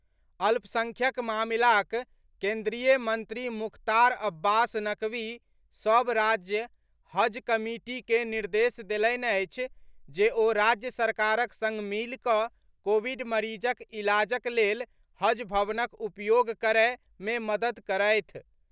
अल्पसंख्यक मामिलाक केन्द्रीय मंत्री मुख्तार अब्बास नकवी सभ राज्य हज कमिटी के निर्देश देलनि अछि जे ओ राज्य सरकारक संग मिलि कऽ कोविड मरीजक इलाजक लेल हज भवनक उपयोग करय मे मददि करैथ।